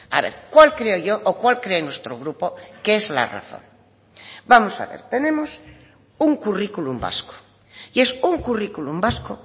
a ver cuál creo yo o cuál cree nuestro grupo que es la razón vamos a ver tenemos un currículum vasco y es un currículum vasco